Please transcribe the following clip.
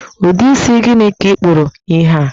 Ụdị isi gịnị ka ị kpụrụ ihe a?